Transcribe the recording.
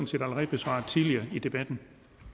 set allerede besvaret tidligere i debatten